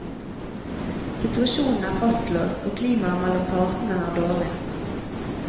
Situasjonen er fastlåst, og klimaet mellom partene er dårlig.